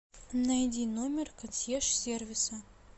найди номер консьерж сервиса